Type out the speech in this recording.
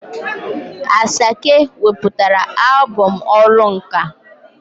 Asake weputara albọm "ọrụ nka'.